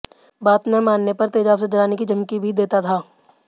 बात न मानने पर तेजाब से जलाने की धमकी भी देता था